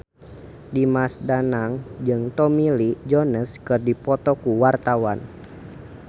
Dimas Danang jeung Tommy Lee Jones keur dipoto ku wartawan